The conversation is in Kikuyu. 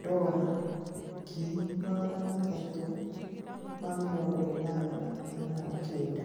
$389,000